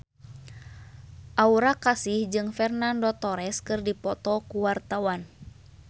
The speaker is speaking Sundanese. Aura Kasih jeung Fernando Torres keur dipoto ku wartawan